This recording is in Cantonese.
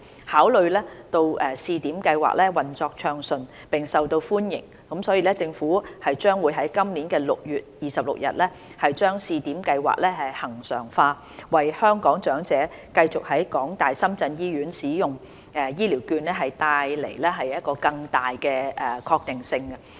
考慮到試點計劃運作暢順並受到歡迎，所以政府將於今年6月26日把試點計劃恆常化，為香港長者繼續在港大深圳醫院使用醫療券帶來更大確定性。